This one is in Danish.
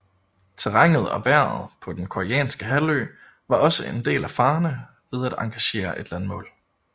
Terrænet og vejret på den koreanske halvø var også en del af farerne ved at engagere et landmål